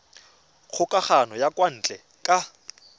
kgokagano ya kwa ntle ka